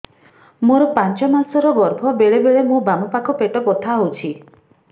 ମୋର ପାଞ୍ଚ ମାସ ର ଗର୍ଭ ବେଳେ ବେଳେ ମୋ ବାମ ପାଖ ପେଟ ବଥା ହଉଛି